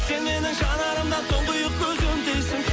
сен менің жанарымда тұңғиық көзім дейсің